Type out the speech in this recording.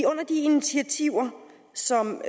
under de initiativer som